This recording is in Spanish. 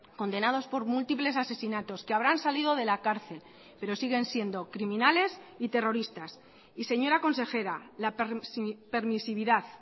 condenados por múltiples asesinatos que habrán salido de la cárcel pero siguen siendo criminales y terroristas y señora consejera la permisividad